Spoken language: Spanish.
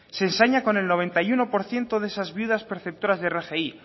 se ensaña con el noventa y uno por ciento de esas viudas perceptoras de rgi